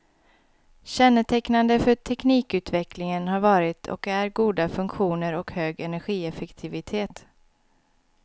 Kännetecknande för teknikutvecklingen har varit och är goda funktioner och hög energieffektivitet.